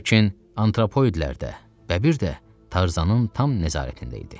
Lakin antropoidlər də, bəbir də Tarzanın tam nəzarətində idi.